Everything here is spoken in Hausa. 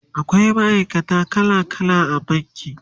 akwai ma'aikata kala kala a banki